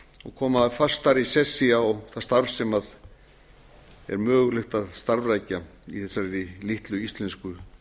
og koma fastari sessi á það starf sem er mögulegt að starfrækja í þessari litlu íslensku